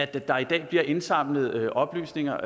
der i dag bliver indsamlet oplysninger